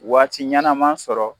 Waati ɲɛnama sɔrɔ